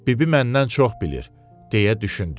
Bibi məndən çox bilir, deyə düşündüm.